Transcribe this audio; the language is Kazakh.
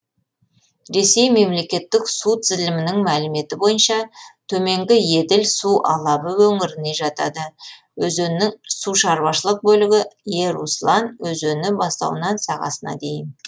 ресей мемлекеттік су тізілімінің мәліметі бойынша төменгі еділ су алабы өңіріне жатады өзеннің сушаруашылық бөлігі еруслан өзені бастауынан сағасына дейін